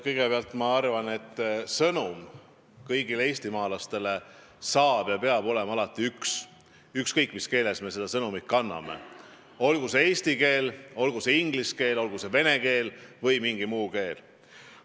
Kõigepealt ma arvan, et sõnum kõigile eestimaalastele saab olla ja peab olema üks, ükskõik mis keeles me seda sõnumit edasi anname – olgu see eesti keel, olgu see inglise keel, olgu see vene keel või mingi muu keel.